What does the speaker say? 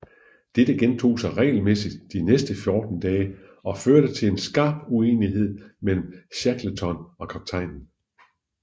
Dette gentog sig regelmæssigt de næste fjorten dage og førte til en skarp uenighed mellem Shackleton og kaptajnen